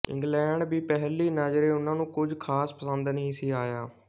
England ਵੀ ਪਹਿਲੀ ਨਜ਼ਰੇ ਉਨ੍ਹਾ ਨੂੰ ਕੁਝ ਖਾਸ ਪਸੰਦ ਨਹੀਂ ਸੀ ਆਇਆ